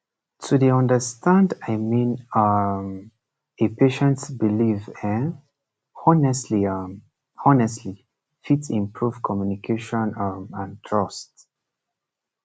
to dey understand i mean um a patient belief um honestly um honestly fit improve communication um and trust